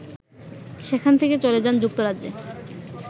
সেখান থেকে চলে যান যুক্তরাজ্যে